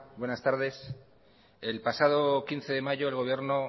buenas tardes el pasado quince de mayo el gobierno